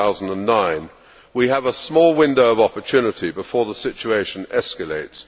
2009. We have a small window of opportunity before the situation escalates.